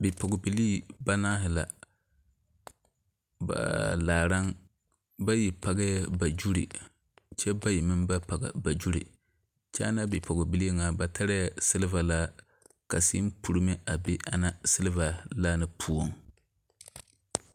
Bipɔgebelee banaare la ba laaraŋ bayi pɔgee ba zuri kyɛ bayi meŋ ba pɔge ba zuri kyɛ ana bepɔgebelee nyɛ ,ba tarɛɛ siliva laa ka sèè purimo be ani siliva laa na poɔŋ.